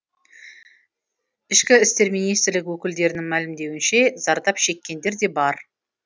ішкі істер министрлігі өкілдерінің мәлімдеуінше зардап шеккендер де бар